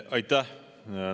Aitäh!